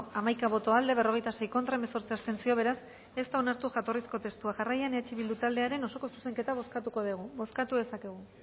hamaika boto aldekoa berrogeita sei contra hemezortzi abstentzio beraz ez da onartu jatorrizko testua jarraian eh bildu taldearen osoko zuzenketa bozkatuko dugu bozkatu dezakegu